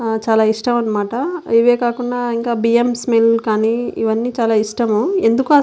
ఆ చాలా ఇష్టమనమాట. ఇవే కాకుండా ఇంకా బియ్యం స్మెల్ కానీ ఇవన్నీ చాలా ఇష్టము.